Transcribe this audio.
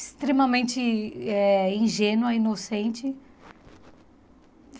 Extremamente eh ingênua, inocente.